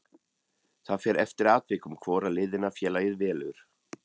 Það fer eftir atvikum hvora leiðina félagið velur.